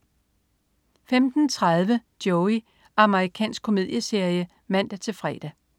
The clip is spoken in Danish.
15.30 Joey. amerikansk komedieserie (man-fre)